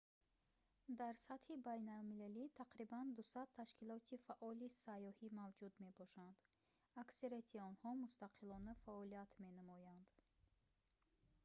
дар сатҳи байналмилалӣ тақрибан 200 ташкилоти фаъоли сайёҳӣ мавҷуд мебошанд аксарияти онҳо мустақилона фаъолият менамоянд